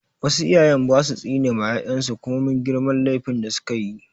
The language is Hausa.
Wasu iyayen ba su tsine ma 'ya'yan su komin girman laifin da su ka yi.